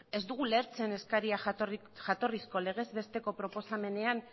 ez dugu ulertzen eskaria jatorrizko legez besteko proposamenean